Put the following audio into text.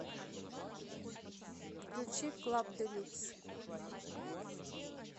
включи клаб делюкс